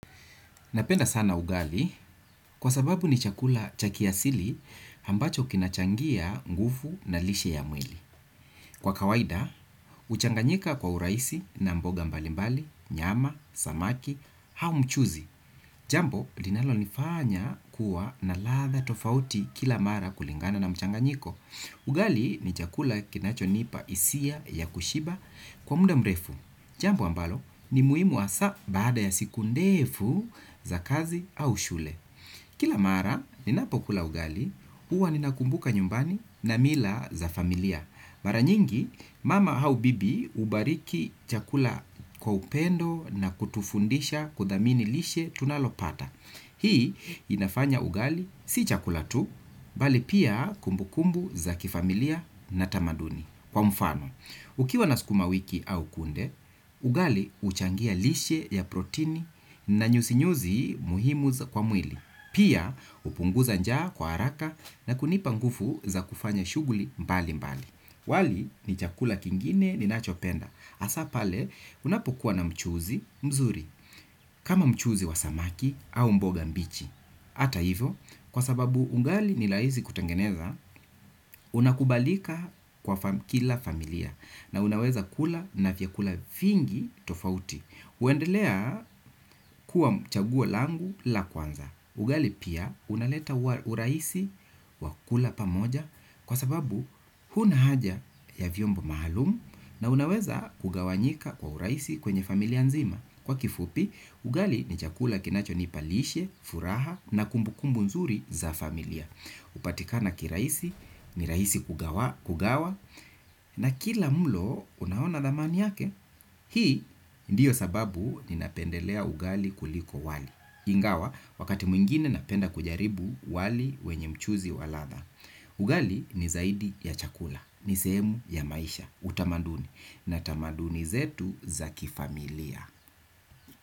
Napenda sana ugali kwa sababu ni chakula cha kiasili ambacho kinachangia nguvu na lishe ya mwili. Kwa kawaida, huchanganyika kwa urahisi na mboga mbalimbali, nyama, samaki, au mchuzi. Jambo, linalonifanya kuwa na ladha tofauti kila mara kulingana na mchanganyiko. Ugali ni chakula kinachonipa hisia ya kushiba kwa muda mrefu. Jambo ambalo ni muhimu hasaa baada ya siku ndefu za kazi au shule. Kila mara ninapokula ugali, huwa ninakumbuka nyumbani na mila za familia. Mara nyingi mama au bibi hubariki chakula kwa upendo na kutufundisha kudhamini lishe tunalopata. Hii inafanya ugali si chakula tu, bali pia kumbukumbu za kifamilia na tamaduni. Kwa mfano, ukiwa na sukuma wiki au kunde, ugali huchangia lishe ya protini na nyuzinyuzi muhimu kwa mwili. Pia hupunguza njaa kwa haraka na kunipa nguvu za kufanya shughuli mbalimbali. Wali ni chakula kingine ninachopenda. Hasaa pale unapokuwa na mchuzi mzuri. Kama mchuzi wa samaki au mboga mbichi. Hata hivo kwa sababu ugali ni rahisi kutengeneza unakubalika kwa kila familia na unaweza kula na vyakula vingi tofauti. Huendelea kuwa chagua langu la kwanza. Ugali pia unaleta urahisi wa kula pamoja kwa sababu huna haja ya vyombo maalum na unaweza kugawanyika kwa urahisi kwenye familia nzima. Kwa kifupi, ugali ni chakula kinachonipa lishe, furaha na kumbukumbu nzuri za familia. Hupatika na kirahisi, ni rahisi kugawa. Na kila mlo, unaona thamani yake. Hii ndiyo sababu ninapendelea ugali kuliko wali. Ingawa, wakati mwingine napenda kujaribu wali wenye mchuzi wa ladha. Ugali ni zaidi ya chakula, ni sehemu ya maisha, utamaduni na tamaduni zetu za kifamilia.